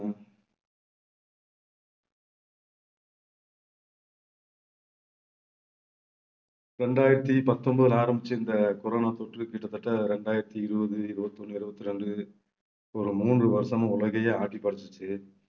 ரெண்டாயிரத்தி பத்தொன்பதுல ஆரம்பிச்ச இந்த corona தொற்று கிட்டத்தட்ட இரண்டாயிரத்தி இருபது, இருபத்தி ஒண்ணு, இருபத்தி ரெண்டு ஒரு மூன்று வருஷமா உலகையே ஆட்டி படைச்சிச்சு